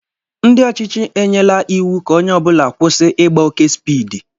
Ndị ọchịchị enyela iwu ka onye ọbula kwụsị Ịgba oke spiidi.